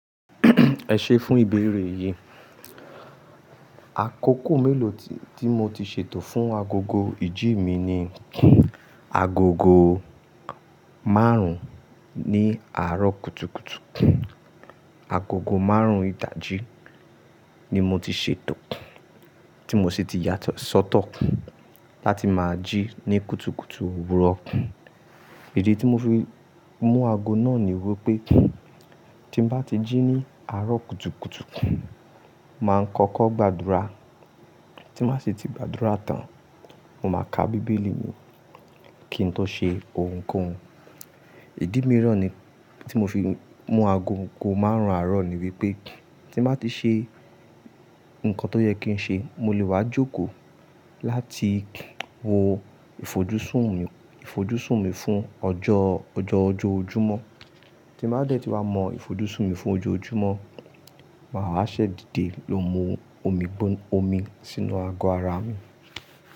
Ẹ̀ṣẹ́ fún ìbẹ̀rẹ̀ yìí. Àkókò mélòó tí mo ti ṣètò fún agogo ìjí mi ni agogo márùn-ún ní àárọ̀ kùtùkùtù. Agogo márùn-ún ìdajì ni mo ti ṣètò, tí mo sì ti yàtọ̀ sọ́tọ̀ láti máa jí ní kùtùkùtù òwúrọ̀. Idi tí mo fi mú ago náà ni wípé tí n bá ti jí ní àárọ̀ kùtùkùtù, màá kọ́kọ́ gbàdúrà tí màá ṣe ti gbàdúrà tán, mo máa ka Bíbélì mi kí ń tó ṣe ohunkóhun. Ìdí mìíràn tí mo fi mú ago ogó márùn-ún àárọ̀ ni wípé tí n bá ti ṣe nǹkan tó yẹ kí n ṣe, mo lè wá jókòó láti wo ìfojúsùn mi, ìfojúsùn mi fún ọjọ́, ọjọ́ ojúmọ́. Tí n bá dẹ̀ tí wá mọ ìfojúsùn mi fún ọjọ́ ojúmọ́, màá ṣẹ̀ dide ló mu omi gbón-omi sínú ago ara mi.